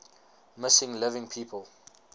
missing living people